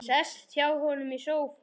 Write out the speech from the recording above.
Sest hjá honum í sófann.